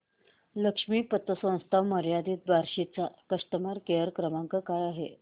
लक्ष्मी पतसंस्था मर्यादित बार्शी चा कस्टमर केअर क्रमांक काय आहे